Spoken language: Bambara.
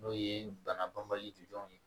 N'o ye bana banbali ye